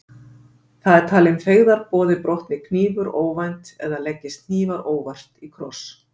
Það er talinn feigðarboði brotni hnífur óvænt eða leggist hnífar óvart í kross.